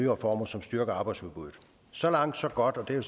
reformer som styrker arbejdsudbuddet så langt så godt og det er